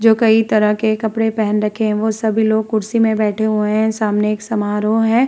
जो कई तरह के कपड़े पहन रखे हैं वो सभी लोग कुर्सी में बैठे हुए हैं। सामने एक समारोह है।